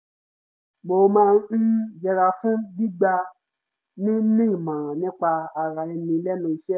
mo máa ń yẹra fún gbígba ni ní ìmọràn nípa ara ẹni lẹ́nu iṣẹ́